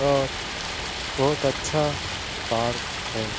बहुत अच्छा पार्क है।